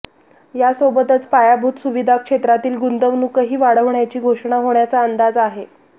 यासोबतच पायाभूत सुविधा क्षेत्रातील गुंतवणूकही वाढवण्याची घोषणा होण्याचा अंदाज आहे